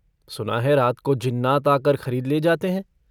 सुना है रात को जिन्नात आकर खरीद ले जाते हैं।